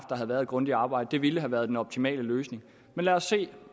været et grundigt arbejde det ville have været den optimale løsning men lad os se